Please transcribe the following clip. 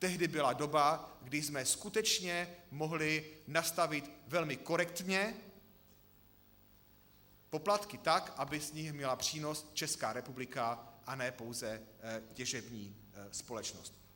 Tehdy byla doba, kdy jsme skutečně mohli nastavit velmi korektně poplatky tak, aby z nich měla přínos Česká republika, a ne pouze těžební společnost.